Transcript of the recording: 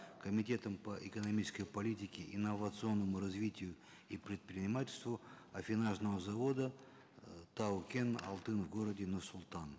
комитетом по экономической политике инновационному развитию и предпринимательству аффинажного завода э тау кен алтын в городе нур султан